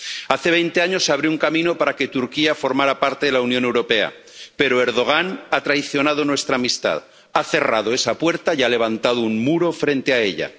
Hace veinte años se abrió un camino para que Turquía formara parte de la Unión Europea, pero Erdogan ha traicionado nuestra amistad, ha cerrado esa puerta y ha levantado un muro frente a ella.